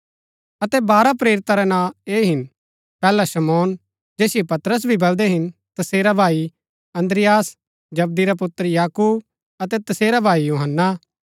अतै बारह प्रेरिता रै नां ऐह हिन पैहला शमौन जैसिओ पतरस भी बलदै हिन तसेरा भाई अन्द्रियास जबदी रा पुत्र याकूब अतै तसेरा भाई यूहन्‍ना